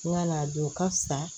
N ka na don ka fisa